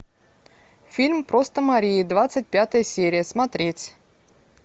фильм просто мария двадцать пятая серия смотреть